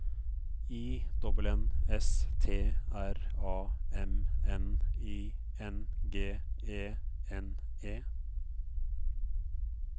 I N N S T R A M N I N G E N E